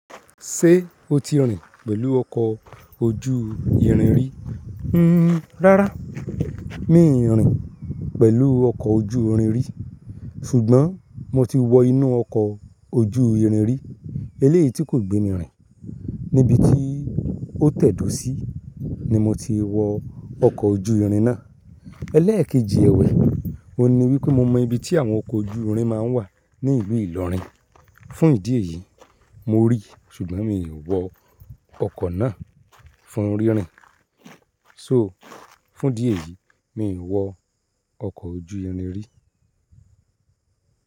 Ṣé o ti rìn pẹ̀lú ọkọ̀ ojú irin rí? Hmm, rárá mi i rìn pẹ̀lú ọkọ̀ ojú irin rí ṣùgbọ́n mo ti wọ inú ọkọ̀ ojú irin rí eléyìí tí kò gbé mi rìn. Níbi tí ó tẹ̀dó sí ni mo ti wọ ọkọ̀ ojú irin náà. Ẹlẹ́ẹ̀kejì ẹwẹ̀, ò ní wípé mo mọ ibi tí àwọn ọkọ̀ ojú irin máa ń wà ní ìlú Ìlọrin. Fún ìdí èyí, mo rí ṣùgbọ́n mi ò wọ ọkọ̀ náà fún rínrin. So, fún ìdí eyìí mi ò wọ ọkọ̀ ojú irin rí.